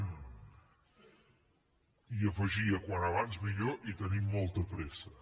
i hi afegia com més aviat millor i tenim molta pressa